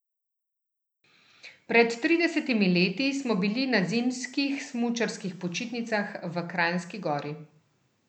Pred tridesetimi leti smo bili na zimskih smučarskih počitnicah v Kranjski Gori.